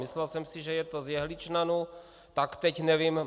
Myslel jsem si, že je to z jehličnanů, tak teď nevím.